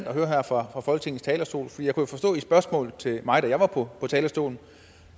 at høre her fra folketingets talerstol for jeg kunne forstå ud fra spørgsmålet til mig da jeg var på talerstolen